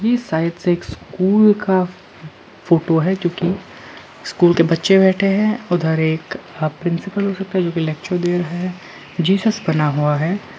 Side से एक school का फोटो है जो कि स्कूल के बच्चे बैठे है उधर एक प्रिंसिपल हो सकता है जो कि लेक्चर दे रहा है जीसस बना हुआ है।